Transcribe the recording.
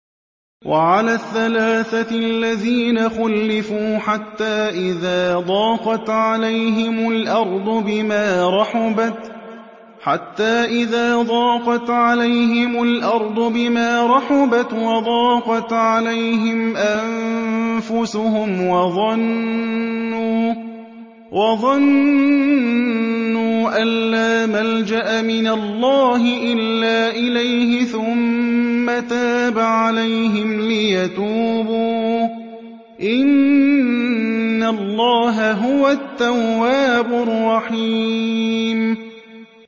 وَعَلَى الثَّلَاثَةِ الَّذِينَ خُلِّفُوا حَتَّىٰ إِذَا ضَاقَتْ عَلَيْهِمُ الْأَرْضُ بِمَا رَحُبَتْ وَضَاقَتْ عَلَيْهِمْ أَنفُسُهُمْ وَظَنُّوا أَن لَّا مَلْجَأَ مِنَ اللَّهِ إِلَّا إِلَيْهِ ثُمَّ تَابَ عَلَيْهِمْ لِيَتُوبُوا ۚ إِنَّ اللَّهَ هُوَ التَّوَّابُ الرَّحِيمُ